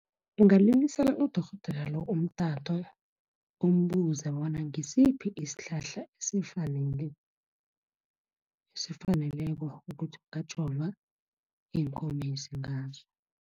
Ungalilisela udorhodera lo, umtato umbuze bona ngisiphi isihlahla esifaneleko ukuthi ungajova iinkomezi ngaso.